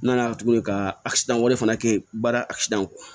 N nana tuguni ka wɛrɛ fana kɛ baara kɔ